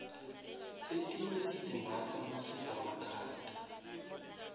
letinye sitimbatsa nasiva makhata